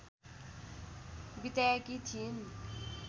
बिताएकी थिइन्।